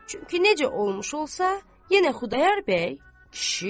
Çünki necə olmuş olsa, yenə Xudayar bəy kişidir.